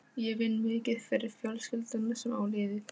Ég vinn mikið fyrir fjölskylduna sem á liðið.